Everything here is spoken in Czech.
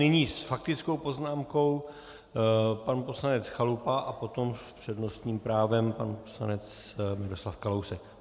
Nyní s faktickou poznámkou pan poslanec Chalupa a potom s přednostním právem pan poslanec Miroslav Kalousek.